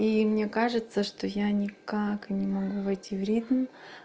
и мне кажется что я никак не могу войти в ритм